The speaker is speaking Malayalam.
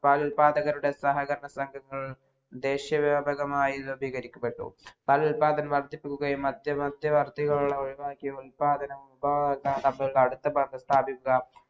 പാൽ ഉത്പാതകരുടെ സഹകരണ സംഘങ്ങൾ ദേശിയ വ്യാപകമായി വിപൂലീകരിക്കപ്പെട്ടു പാൽ ഉത്പാതനം വർധിക്കുക്കയും മറ്റു മറ്റു വാർത്ഥ്യ ഒഴിവാക്കിയ ഉത്പാതനവും